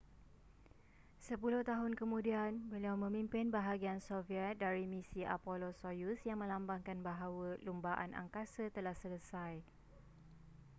sepuluh tahun kemudian beliau memimpin bahagian soviet dari misi apollo-soyuz yang melambangkan bahawa lumbaan angkasa telah selesai